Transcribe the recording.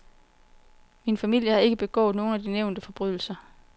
Min familie havde ikke begået nogen af de nævnte forbrydelser.